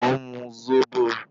Mo ùn mu Zobo.